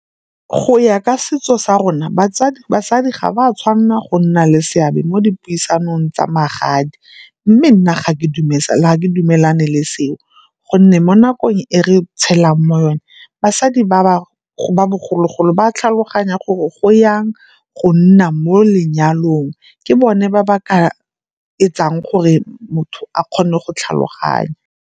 Go ya ka setso sa rona basadi ga ba tshwanela go nna le seabe mo dipuisanong tsa magadi mme nna ga ke dumelane le seo, gonne mo nakong e re tshela mo yone basadi ba ba bogologolo ba tlhaloganya gore go yang go nna mo lenyalong, ke bone ba ba ka etsang gore motho a kgone go tlhaloganya.